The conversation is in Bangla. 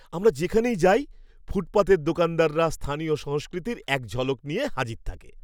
আমরা যেখানেই যাই, ফুটপাতের দোকানদাররা স্থানীয় সংস্কৃতির এক ঝলক নিয়ে হাজির থাকে।